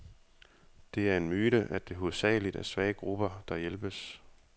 Det er en myte, at det hovedsageligt er svage grupper, der hjælpes.